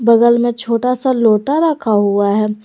बगल में छोटा सा लोटा रखा हुआ है।